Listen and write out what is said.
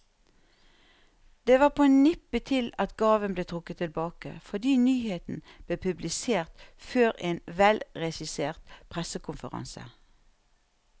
Det var på nippet til at gaven ble trukket tilbake, fordi nyheten ble publisert før en velregissert pressekonferanse.